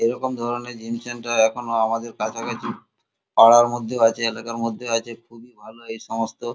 এইরকম ধরণের gym centre এখনো আমাদের কাছাকাছি পাড়ার মধ্যেও আছে এলাকার মধ্যেও আছে খুবই ভালো এই সমস্ত।